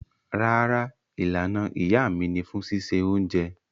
Rárá, Ìlànà iyá mi ni fún sísẹ ọ̀unjẹ